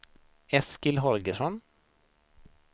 Eskil Holgersson